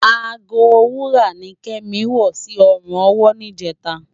Àgó wúrá ni Kemi wò si òrún òwò nijètá